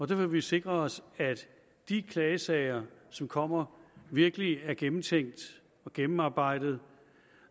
vil vi sikre os at de klagesager som kommer virkelig er gennemtænkt og gennemarbejdet